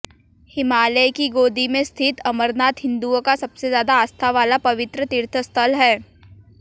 हिमालय की गोदी में स्थित अमरनाथ हिंदुओं का सबसे ज़्यादा आस्था वाला पवित्र तीर्थस्थल है